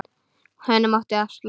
Hinum átti að slátra.